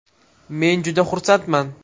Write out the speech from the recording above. Men juda xursandman.